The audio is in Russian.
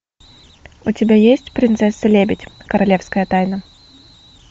у тебя есть принцесса лебедь королевская тайна